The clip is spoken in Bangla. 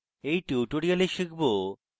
in tutorial শিখব